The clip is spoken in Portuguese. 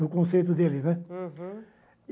No conceito deles, né? uhum